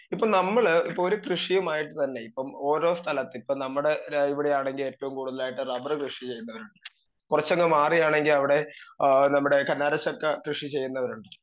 speaker 2 ഇപ്പൊ നമ്മള് ഇപ്പൊ ഒരു കൃഷിയുമായിട്ട് തന്നെ ഇപ്പം ഓരോ സ്ഥലത്തും ഇപ്പൊ നമ്മടെ ര ഇവടെ ആണെങ്കിൽ ഏറ്റോം കൂടുതലായിട്ട് റബ്ബറ് കൃഷി ചെയ്യുന്നത് കൊറച്ചങ്ങ് മാറിയാണെങ്കി അവിടെ ഏ നമ്മടെ കർണാടക സ്ഥലത്ത് കൃഷി ചെയ്യുന്നവരുണ്ട്